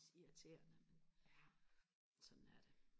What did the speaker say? irriterende sådan er det